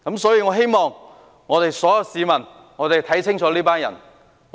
所以，我希望所有市民能看清楚這些人。